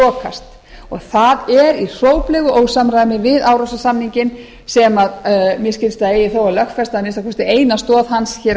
og það er í hróplegu ósamræmi við árósasamninginn sem mér skilst að eigi þó að lögfesta að minnsta kosti eina stoð hans á